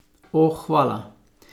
O, hvala.